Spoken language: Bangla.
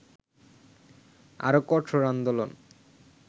আরো কঠোর আন্দোলন